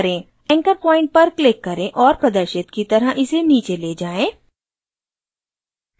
anchor point पर click करें और प्रदर्शित की तरह इसे नीचे ले जाएँ